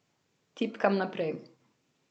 Tipkam naprej.